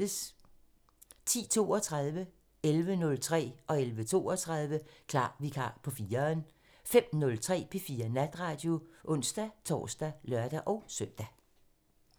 10:32: Klar Vikar på 4'eren 11:03: Klar Vikar på 4'eren 11:32: Klar Vikar på 4'eren 05:03: P4 Natradio (ons-tor og lør-søn)